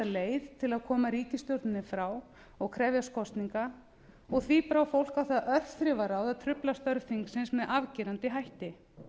leið til að koma ríkisstjórninni frá og krefjast kosninga og því brá fólk á það örþrifaráð að trufla störf þingsins með afgerandi hætti